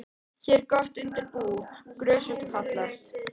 Hér er gott undir bú, grösugt og fallegt.